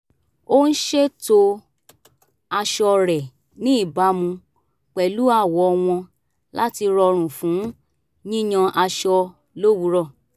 ó ń ṣètò aṣọ rẹ̀ ní ìbámu pẹ̀lú àwọ̀ wọn láti rọrùn fún yíyan aṣọ lówùúrọ̀